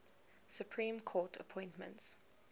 supreme court appointments